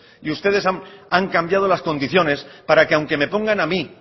y ustedes han cambiado las condiciones para que aunque me pongan a mí